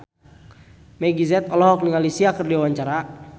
Meggie Z olohok ningali Sia keur diwawancara